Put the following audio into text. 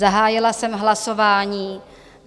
Zahájila jsem hlasování.